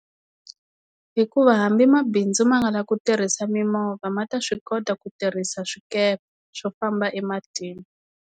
Hikuva hambi mabindzu ma nga la ku tirhisa mimovha ma ta swi kota ku tirhisa swikepe swo famba ematini.